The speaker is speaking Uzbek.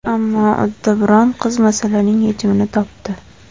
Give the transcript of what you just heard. Ammo uddaburon qiz masalaning yechimini topdi.